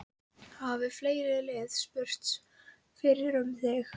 Hafa fleiri lið spurst fyrir um þig?